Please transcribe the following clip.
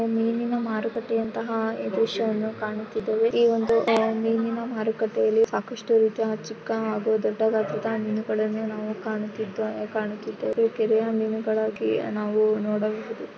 ಇಲ್ಲಿ ಮೀನಿನ ಮಾರುಕಟ್ಟೆ ಎಂಬ ದೃಶ್ಯವನ್ನು ಕಾಣುತ್ತಿದ್ದೇವೆ. ಇಲ್ಲಿ ಮೀನಿನ ಮಾರುಕಟ್ಟೆಯಲ್ಲಿ ಸಾಕಷ್ಟು ರೀತಿ ಚಿಕ್ಕ ಹಾಗೂ ದೊಡ್ಡದಾದಂತಹ ಮೀನು ಗಳನ್ನು ನಾವು ಇಲ್ಲಿ ಕಾಣುತ್ತಿದ್ದೇವೆ ಹಾಗೆ ಕೆರೆಯ ಮೀನುಗಳಾಗಿ ನಾವು ಇಲ್ಲಿ ನೋಡಬಹುದು.